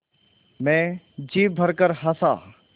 मैं जी भरकर हँसा